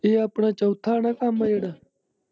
ਇਹ ਆਪਣਾ ਚੋਥਾ ਆ ਨਾ ਕੰਮ ਜਿਹੜਾ।